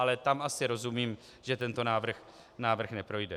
Ale tam asi rozumím, že tento návrh neprojde.